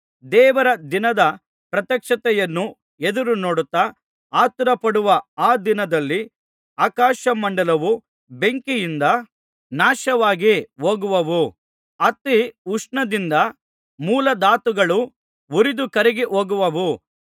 ದೇವರ ದಿನದ ಪ್ರತ್ಯಕ್ಷತೆಯನ್ನು ಎದುರುನೋಡುತ್ತಾ ಆತುರಪಡುವ ಆ ದಿನದಲ್ಲಿ ಆಕಾಶಮಂಡಲವು ಬೆಂಕಿಯಿಂದ ನಾಶವಾಗಿ ಹೋಗುವವು ಅತಿ ಉಷ್ಣದಿಂದ ಮೂಲಧಾತುಗಳು ಉರಿದು ಕರಗಿ ಹೋಗುವವು